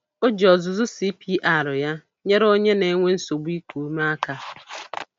O ji ọzụzụ CPR ya nyere onye na-enwe nsogbu n'iku ume aka.